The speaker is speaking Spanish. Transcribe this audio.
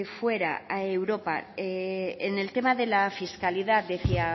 fuera a europa en el tema de la fiscalidad decía